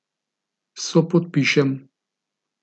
Sopodpišem!